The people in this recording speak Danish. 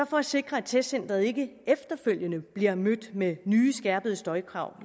for at sikre at testcenteret ikke efterfølgende bliver mødt med nye skærpede støjkrav